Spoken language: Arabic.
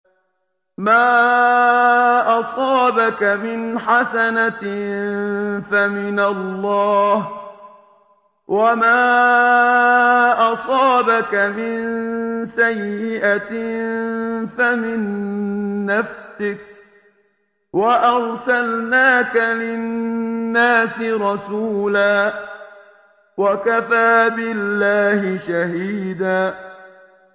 مَّا أَصَابَكَ مِنْ حَسَنَةٍ فَمِنَ اللَّهِ ۖ وَمَا أَصَابَكَ مِن سَيِّئَةٍ فَمِن نَّفْسِكَ ۚ وَأَرْسَلْنَاكَ لِلنَّاسِ رَسُولًا ۚ وَكَفَىٰ بِاللَّهِ شَهِيدًا